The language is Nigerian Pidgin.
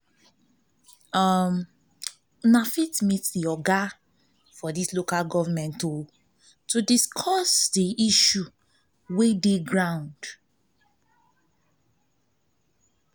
una fit meet di oga for di local government to discuss di issue wey dey for ground